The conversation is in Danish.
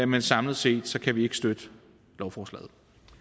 men samlet set kan vi ikke støtte lovforslaget